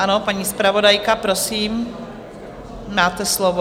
Ano, paní zpravodajka, prosím, máte slovo.